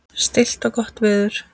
Stillt og gott veður.